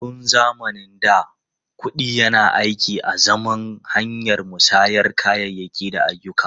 Tun zamanin da, kuɗi yana aiki azaman hanyar musayar kayayyaki da ayyuka.